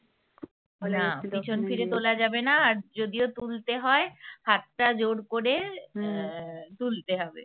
না পিছন ফিরে তোলা যাবে না আর যদিও তুলতে হয় হাতটা জোড় করে আহ তুলতে হবে